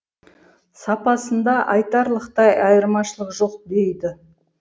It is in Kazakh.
сапасында айтарлықтай айырмашылық жоқ дейді